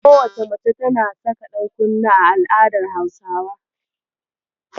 Kowacce mace tana saka ɗankunne a al'adar Hausawa.